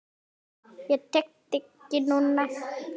Ég tek þig ekki núna.